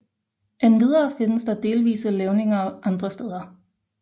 Endvidere findes der delvise levninger andre steder